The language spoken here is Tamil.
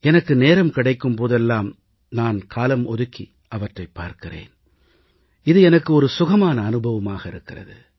எனக்கு நேரம் கிடைக்கும் போதெல்லாம் நான் காலம் ஒதுக்கி அவற்றைப் பார்க்கிறேன் இது எனக்கு சுகமான அனுபவமாக இருக்கிறது